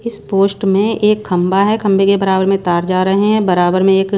इस पोस्ट में एक खंभा है खंबे के बराबर में तार जा रहे हैं बराबर में एक--